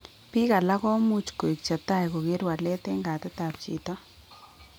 Biik alak komuch koik chetai koker walet en gait ab chito